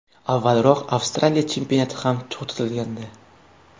Avvalroq Avstraliya chempionati ham to‘xtatilgandi.